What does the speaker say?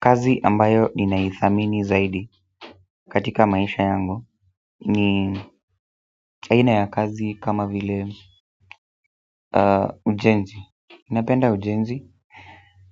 Kazi ambayo ninaithamini zaidi katika maisha yangu ni aina ya kazi kama vile ujenzi napenda ujenzi